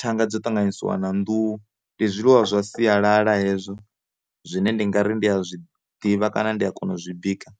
thanga dzo ṱanganisiwa na nḓuhu, ndi zwiḽiwa zwa sialala hezwo zwine ndi ngari ndi a zwi ḓivha kana ndi a kona u zwi bika.